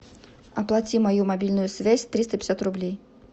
оплати мою мобильную связь триста пятьдесят рублей